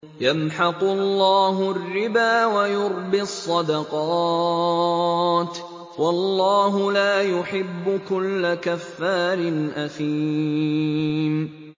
يَمْحَقُ اللَّهُ الرِّبَا وَيُرْبِي الصَّدَقَاتِ ۗ وَاللَّهُ لَا يُحِبُّ كُلَّ كَفَّارٍ أَثِيمٍ